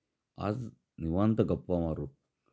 आज निवांत गप्पा मारु